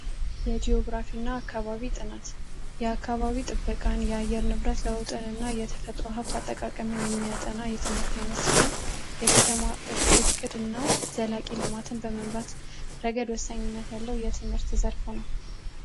የጂኦግራፊ እና አካባቢ ጥናት የአካባቢ ጥበቃና የአየር ንብረት ለውጥ እና የተፈጥሮ ሀብት አጠቃቀም የሚያጠና የትምህርት ዓይነት ሲሆን ፤የከተማዋ እቅድ ነው። ዘላቂ ልማትን በመምራት ረገድ ወሳኝነት ያለው የትምህርት ዘርፍ ነው።